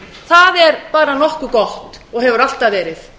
það er bara nokkuð gott og hefur alltaf verið